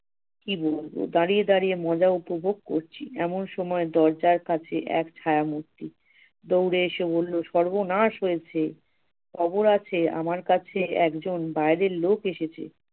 কি বলব, দাঁড়িয়ে দাঁড়িয়ে মজা উপভোগ করছি। এমন সময় দরজার কাছে এক ছায়া-মূর্তি দৌড়ে এসে বলল সর্বনাশ হয়েছে! খবর আছে আমার কাছে একজন বাইরে লোক এসেছে।